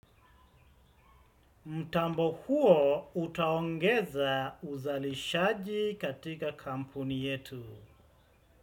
Mtambo huo utaongeza uzalishaji katika kampuni yetu.